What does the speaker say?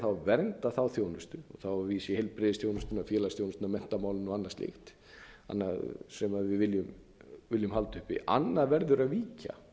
þá að vernda þá þjónustu þá er ég að vísa í heilbrigðisþjónustuna félagsþjónustuna menntamálin og annað slíkt sem við viljum halda uppi annað verður að